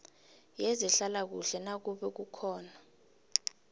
yezehlalakuhle nakube kukhona